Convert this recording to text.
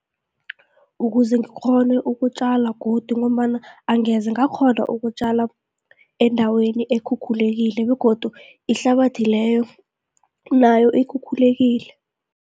Ukuze ngikghone ukutjala godu, ngombana angeze ngakghona ukutjala endaweni ekhukhulekile begodu ihlabathi leyo nayo ikhukhulekile.